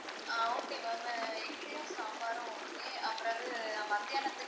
ஆஹ் okay ma'am இட்லியும் சாம்பாரும் okay பிறகு மத்தியானத்துக்கு